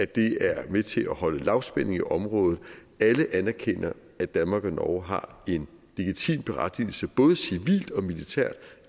det er med til at holde lavspænding i området alle anerkender at danmark og norge har en legitim berettigelse både civilt og militært